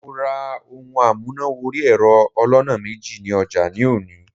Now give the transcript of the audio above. Mo ra ohun amúnà wọrí ẹ̀rọ aloná méjì ní ọjà ní òní.